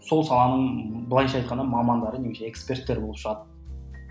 сол саланың былайша айтқанда мамандары немесе эксперттері болып шығады